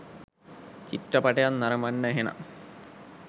චිත්‍රපටයත් නරඹන්න එහෙනම්.